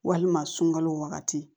Walima sunkalo wagati